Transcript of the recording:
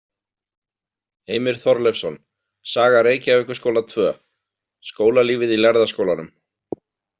Heimir Þorleifsson, Saga Reykjavíkurskóla II: Skólalífið í Lærða skólanum.